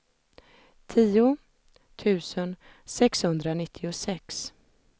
tio tusen sexhundranittiosex